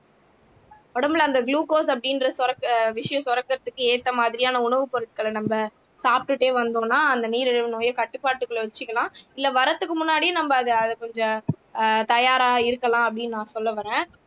உடம்புல அந்த குளுக்கோஸ் அப்படின்ற சுரக் ஆஹ் விஷயம் சுரக்கிறதுக்கு ஏத்த மாதிரியான உணவுப் பொருட்களை நம்ம சாப்டுட்டே வந்தோம்னா அந்த நீரிழிவு நோயை கட்டுப்பாட்டுக்குள்ள வச்சுக்கலாம் இல்லை வர்றதுக்கு முன்னாடியே நம்ம அதை அதை கொஞ்சம் ஆஹ் தயாரா இருக்கலாம் அப்படின்னு நான் சொல்ல வர்றேன்